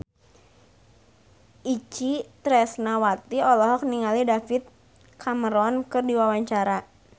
Itje Tresnawati olohok ningali David Cameron keur diwawancara